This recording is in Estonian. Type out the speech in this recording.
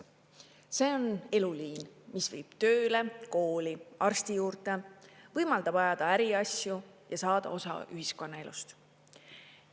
See on eluliin, mis viib tööle, kooli, arsti juurde, võimaldab ajada äriasju ja saada osa ühiskonnaelust.